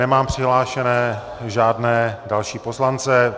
Nemám přihlášené žádné další poslance.